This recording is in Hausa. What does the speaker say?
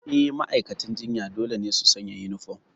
Eh, ma'aikatan jinya dole ne su sanya uniform.